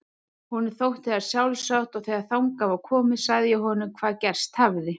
Honum þótti það sjálfsagt og þegar þangað var komið sagði ég honum hvað gerst hafði.